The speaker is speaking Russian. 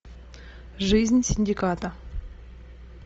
жизнь синдиката